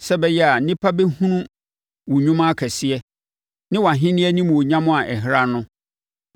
sɛ ɛbɛyɛ a nnipa bɛhunu wo nnwuma akɛseɛ ne wʼahennie animuonyam a ɛhran no.